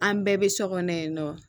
An bɛɛ bɛ so kɔnɔ yen nɔ